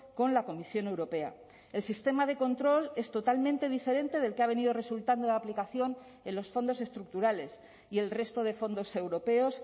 con la comisión europea el sistema de control es totalmente diferente del que ha venido resultando de aplicación en los fondos estructurales y el resto de fondos europeos